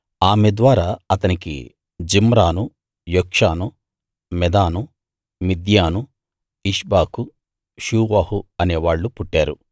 ఆమె ద్వారా అతనికి Zimran Jokshan Medan Midian Ishbak Shuah అనేవాళ్ళు పుట్టారు